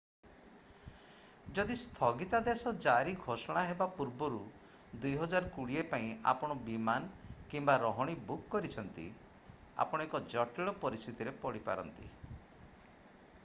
ଯଦି ସ୍ଥଗିତାଦେଶ ଜାରି ଘୋଷୋଣା ହେବା ପୂର୍ବରୁ 2020 ପାଇଁ ଆପଣ ବିମାନ କିମ୍ବା ରହଣି ବୁକ କରିଛନ୍ତି ଆପଣ ଏକ ଜଟିଳ ପରିସ୍ଥିତିରେ ପଡି ପାରନ୍ତି